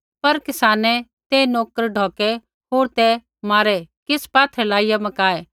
पर किसानै ते नोकर ढौकै होर ते मारै किछ़ पात्थरै लाइया मकाऐ